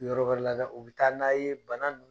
Yɔrɔ wɛrɛ la u bi taa n'a ye bana ninnu